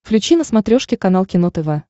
включи на смотрешке канал кино тв